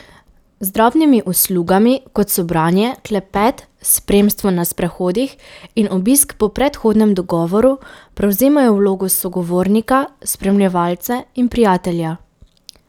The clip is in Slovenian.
Z drobnimi uslugami, kot so branje, klepet, spremstvo na sprehodih in obisk po predhodnem dogovoru, prevzemajo vlogo sogovornika, spremljevalca in prijatelja.